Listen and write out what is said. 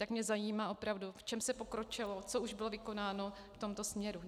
Tak mě zajímá opravdu, v čem se pokročilo, co už bylo vykonáno v tomto směru.